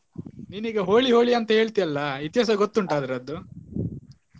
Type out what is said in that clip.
ನೀನೀಗ holi, holi ಅಂತ ಹೇಳ್ತಿಯಲ್ಲಾ ಇತಿಹಾಸ ಅದರದ್ದು?